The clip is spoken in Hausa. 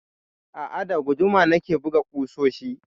A'a, da guduma na ke buga ƙusoshi.